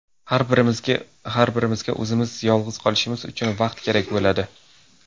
Har birimizga o‘zimiz yolg‘iz qolishimiz uchun vaqt kerak bo‘ladi.